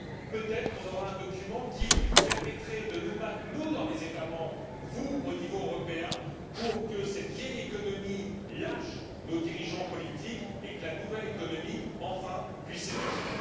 Peut être aurions nous alors un document qui nous permettrait de nous battre nous, dans les États membres, vous, au niveau européen pour que cette vieille économie lâche nos dirigeants politiques et que la nouvelle économie puisse enfin émerger.